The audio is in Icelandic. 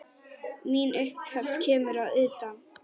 Mín upphefð kemur að utan.